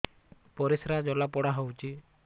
ପରିସ୍ରା ଜଳାପୋଡା ହଉଛି